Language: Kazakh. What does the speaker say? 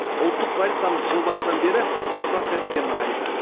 ұлттық валютамыз жыл басынан бері бір процентке нығайды